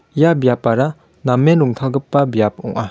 ia biapara namen rongtalgipa biap ong·a.